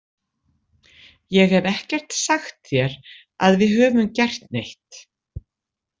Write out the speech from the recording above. Ég hef ekkert sagt þér að við höfum gert neitt.